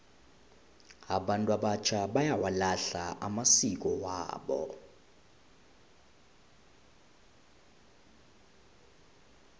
abantu abatjha bayawalahla amasiko wabo